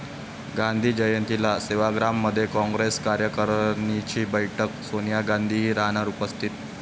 गांधी जयंतीला सेवाग्राममध्ये काँग्रेस कार्यकारणीची बैठक, सोनिया गांधीही राहणार उपस्थित